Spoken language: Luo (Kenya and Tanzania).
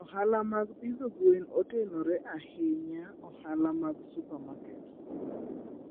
Ohala mag pidho gwen otenore ahinya ohala mag supamaket.